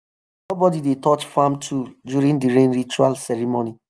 nobody dey touch farm tool during the rain ritual ceremony.